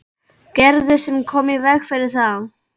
Gerði sem kom í veg fyrir það.